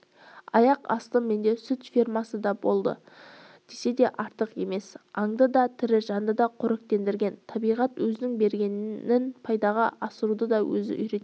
аяқ асты менде сүт фермасы да пайда болды десе де артық емес аңды да тірі жанды да қоректендірген табиғат өзінің бергенін пайдаға асыруды да өзі үйретеді